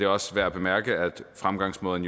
også værd at bemærke at fremgangsmåden